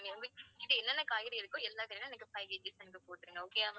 எனக்கு five KG வந்து போட்டுருங்க okay யா